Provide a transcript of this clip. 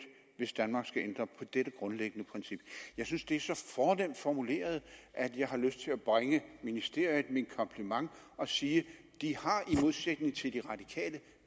hvis danmark skal ændre på dette grundlæggende princip jeg synes det er så fornemt formuleret at jeg har lyst til at bringe ministeriet min kompliment og sige at de i modsætning til de radikale